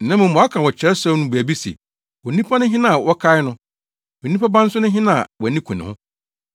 Na mmom wɔaka wɔ Kyerɛwsɛm no mu baabi se, “Onipa ne hena a wokae no; na onipa ba nso ne hena a wʼani ku ne ho?